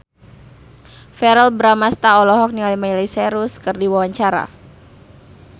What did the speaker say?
Verrell Bramastra olohok ningali Miley Cyrus keur diwawancara